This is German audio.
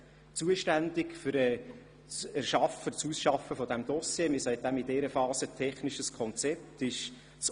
In dieser Phase nennt man das «technisches Konzept», und dafür ist das Organisationskomitee zuständig.